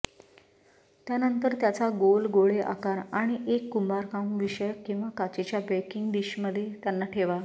त्यानंतर त्याचा गोल गोळे आकार आणि एक कुंभारकामविषयक किंवा काचेच्या बेकिंग डिश मध्ये त्यांना ठेवा